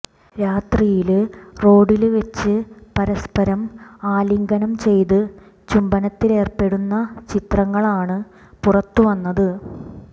രാത്രിയില് റോഡില് വെച്ച് പരസ്പരം അലിംഗനം ചെയ്ത് ചുംബനത്തിലേര്പ്പെടുന്ന ചിത്രങ്ങളാണ് പുറത്ത് വന്നത്